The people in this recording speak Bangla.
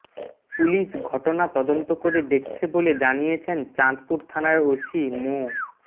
পুলিশ ঘটনা তদন্ত করে দেখছে বলে জানিয়েছেন চাঁদপুর থানার ওসি মো